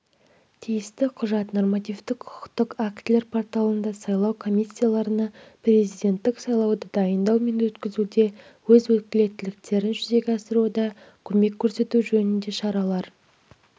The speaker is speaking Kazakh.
тиісті құжат нормативтік құқықтық актілер порталында сайлау комиссияларына президенттік сайлауды дайындау мен өткізуде өз өкілеттіктерін жүзеге асыруда көмек көрсету жөніндегі шаралар